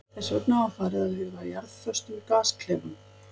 Þess vegna var farið að huga að jarðföstum gasklefum.